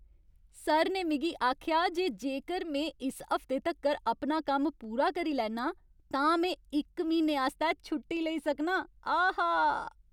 Sir ने मिगी आखेआ जे जेकर में इस हफ्ते तक्कर अपना कम्म पूरा करी लैन्नां तां में इक म्हीने आस्तै छुट्टी लेई सकनां, आहा!